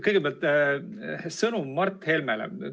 Kõigepealt sõnum Mart Helmele.